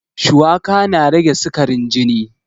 Shuwaka na rage sikarin jini